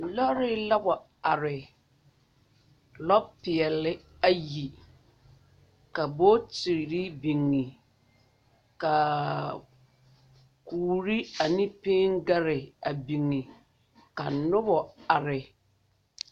Lɔre la wa are, lɔ peɛle ayi ka bontiri biŋa kaaa kure ane piŋgaare a biŋa ka noba are.